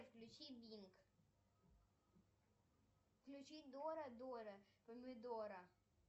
включи бинг включи дора дора помидора